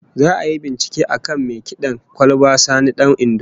Za'a yi bincike akan mai kid'an kwalba Sani Dan Indo